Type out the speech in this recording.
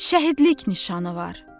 şəhidlik nişanı var.